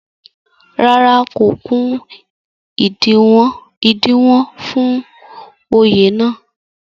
rárá, kò kún ìdiwọ̀n fún Oyè náà